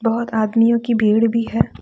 बहुत आदमियों की भीड़ भी है।